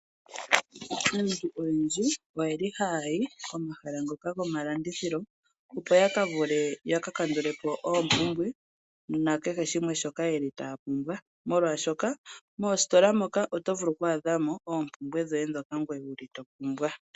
Aantu oyendji oyeli haya yi komahala ngoka gomalandithilo opo yakavulw yakakandulepo oompumbwe mukeheshimwr ssjoka yeli taapumbwa molwashoka moositola moka otovulu okwaadhamo oompumbwe dhoye omuntu topumbwa.